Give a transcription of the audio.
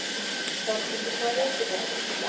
Berghildur, hvaða vikudagur er í dag?